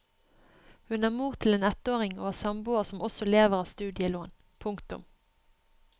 Hun er mor til en ettåring og har samboer som også lever av studielån. punktum